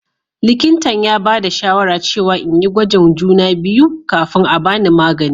Likintan ya bada shawara cewa n'yi gwajin juna biyu kafin a'bani magani.